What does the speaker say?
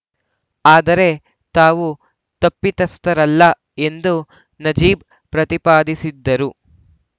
ಆದರೆ ತಾವು ತಪ್ಪಿತಸ್ಥರಲ್ಲ ಎಂದು ನಜೀಬ್‌ ಪ್ರತಿಪಾದಿಸಿದ್ದರು